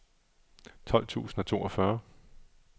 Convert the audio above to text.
tolv tusind og toogfyrre